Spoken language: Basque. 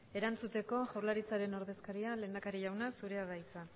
erantzuteko jaurlaritzaren ordezkaria lehendakari jauna zurea da hitza